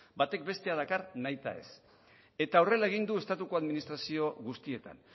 batek bestea dakar nahita ez eta horrela egin du estatuko administrazio guztietan